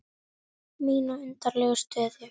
Mína undarlegu stöðu.